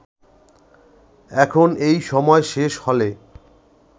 এখন এই সময় শেষ হলে